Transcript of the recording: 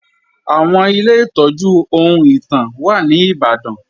Àwọn Ilé ìtọ́jú ohun ìtàn wà ní Ìbàdàn